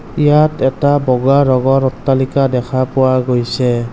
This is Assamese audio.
ইয়াত এটা বগা ৰঙৰ অট্টালিকা দেখা পোৱা গৈছে।